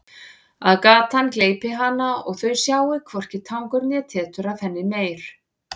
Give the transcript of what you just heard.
Að gatan gleypi hana og þau sjái hvorki tangur né tetur af henni meir.